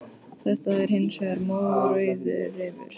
Þetta er hins vegar mórauður refur.